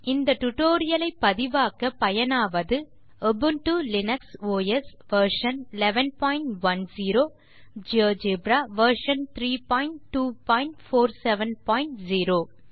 இந்த டுடோரியலை பதிவாக்க பயனாவது Ubuntu Linux OS version 1110 GeoGebra version 32470